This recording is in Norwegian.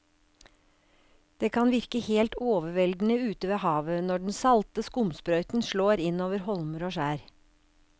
Det kan virke helt overveldende ute ved havet når den salte skumsprøyten slår innover holmer og skjær.